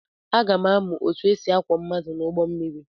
Aga m amụ otú e si akwọ mmadụ n’ụgbọ mmiri.